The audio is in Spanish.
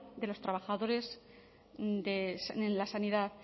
de los trabajadores en la sanidad